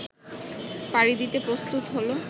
পাড়ি দিতে প্রস্তুত হল